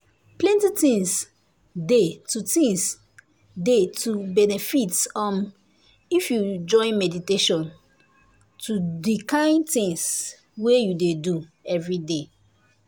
plenty things dey to things dey to benefit um if you join meditation to di kain things wey you dey do everyday.